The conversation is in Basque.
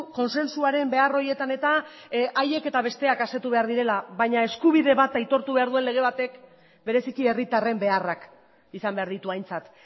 kontsentsuaren behar horietan eta haiek eta besteak asetu behar direla baina eskubide bat aitortu behar duen lege batek bereziki herritarren beharrak izan behar ditu aintzat